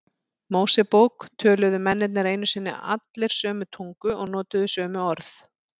Mósebók töluðu mennirnir einu sinni allir sömu tungu og notuðu sömu orð.